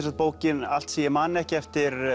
sagt bókin allt sem ég man ekki eftir